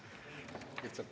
Aitäh!